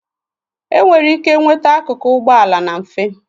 enwere ike nweta akụkụ ụgbọala na mfe